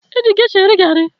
E ji gesha eri garị